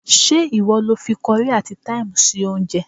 Ṣé ìwọ lo fi kọrí àti táìmù sí oúnjẹ?